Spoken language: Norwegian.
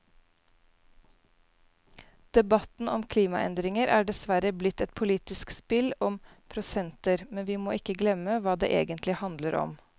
Debatten om klimaendringer er dessverre blitt et politisk spill om prosenter, men vi må ikke glemme hva det egentlig handler om.